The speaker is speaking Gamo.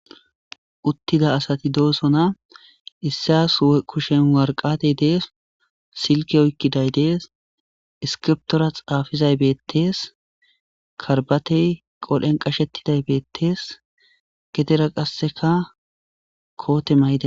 Utida asati dosona issi kusheni waraqati deesi silikke oyikidayi deesi issikibiritora xaafizayisi bettesi karibateyi qodhen qachetidayis bettesi gedera qasekka kote mayidayisa bettesi